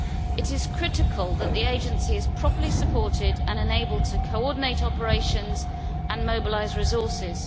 It is critical that the agency is properly supported and enabled to coordinate operations and mobilise resources.